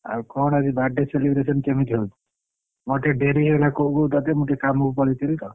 ଆଉ କଣ ଆଜି birthday celebration କେମିତି କଣ ହଉଛି ମୋର ଟିକେ ଡେରି ହେଇଗଲା କହୁ କହୁ ତତେ ମୁଁ ଟିକେ କାମ କୁ ପଳେଇଥିଲି ତ।